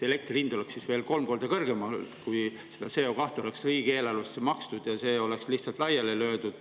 Elektri hind oleks veel kolm korda kõrgem olnud, kui seda CO2 raha oleks riigieelarvesse makstud ja see oleks lihtsalt laiaks löödud.